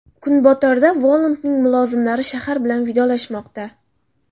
Kunbotarda Volandning mulozimlari shahar bilan vidolashmoqda.